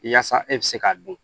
Yaasa e bɛ se k'a dun